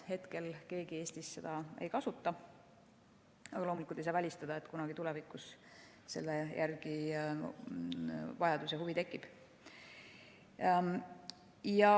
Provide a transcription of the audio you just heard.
Hetkel keegi Eestis seda ei kasuta, aga loomulikult ei saa välistada, et kunagi tulevikus selle järele vajadus ja selle vastu huvi tekib.